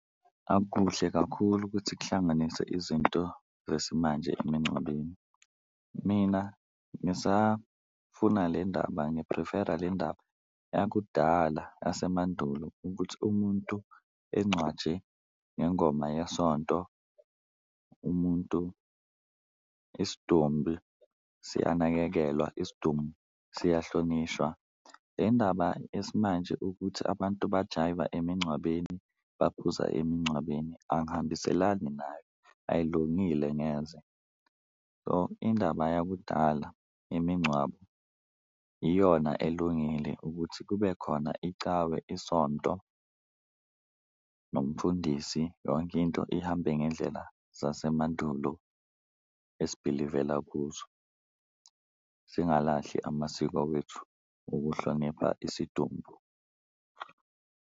Akuhle kakhulu ukuthi kuhlanganise izinto zesimanje emingcwabeni mina ngisafuna le ndaba, ngi-prefer-a le ndaba yakudala yasemandulo ukuthi umuntu engcwatshe ngengoma yesonto. Umuntu isidumbi siyanakekelwa, isidumbu siyahlonishwa le ndaba esimanje ukuthi abantu bajayiva emingcwabeni, baphuza emingcwabeni angihambiselani nayo, ayilungile ngeze. So, indaba yakudala imingcwabo iyona elungile ukuthi kube khona icawe isonto, nomfundisi yonke into ihambe ngendlela zasemandulo esibhilivela kuzo singalilahli amasiko wethu okuhlonipha isidumbu.